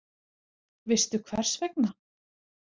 Veistu hvers vegna?